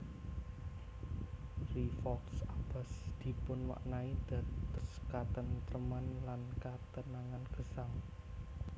Rievaulx Abbas dipunmaknai dados katentreman lan katenangan gesang